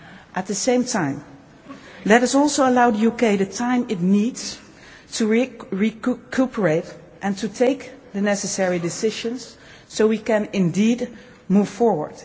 At the same time, let us also allow the UK the time it needs to recuperate and to take the necessary decisions so we can indeed move forward.